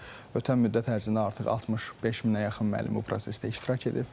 Ötən müddət ərzində artıq 65 minə yaxın müəllim bu prosesdə iştirak edib.